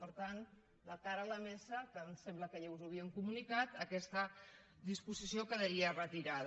per tant de cara a la mesa que em sembla que ja us ho havíem comunicat aquesta disposició quedaria retirada